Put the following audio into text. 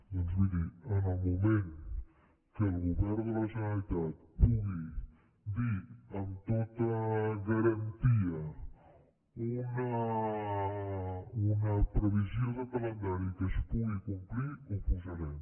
doncs miri en el moment que el govern de la generalitat pugui dir amb tota garantia una previsió de calendari que es pugui complir ho posarem